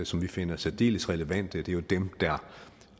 som vi finder særdeles relevante det er jo dem der